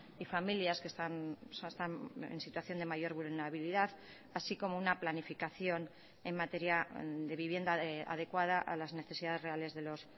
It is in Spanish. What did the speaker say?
y familias que están en situación de mayor vulnerabilidad así como una planificación en materia de vivienda adecuada a las necesidades reales de los